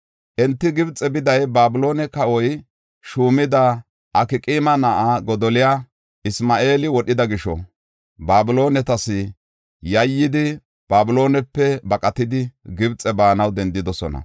Enti Gibxe biday Babiloone kawoy shuumida Akqaama na7aa Godoliya Isma7eeli wodhida gisho, Babiloonetas yayyidi, Babiloonepe baqatidi, Gibxe baanaw dendidosona.